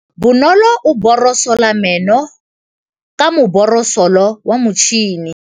Bonolô o borosola meno ka borosolo ya motšhine.